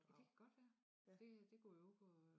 Ja det kan godt være det det kunne jo gå